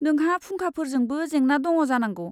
नोंहा फुंखाफोरजोंबो जेंना दङ जानांगौ।